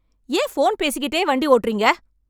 ஏன் ஃபோன் பேசிக்கிட்டே வண்டி ஓட்டுறீங்க?